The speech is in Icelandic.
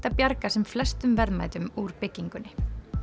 að bjarga sem flestum verðmætum úr byggingunni